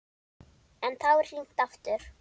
En þá er hringt aftur.